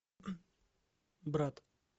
брат